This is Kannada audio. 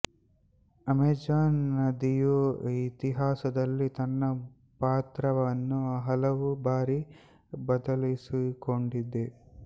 ಅಮೆಜಾನ್ ನದಿಯು ಇತಿಹಾಸದಲ್ಲಿ ತನ್ನ ಪಾತ್ರವನ್ನು ಹಲವು ಬಾರಿ ಬದಲಿಸಿಕೊಂಡಿದೆ